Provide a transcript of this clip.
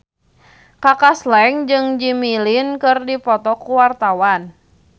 Kaka Slank jeung Jimmy Lin keur dipoto ku wartawan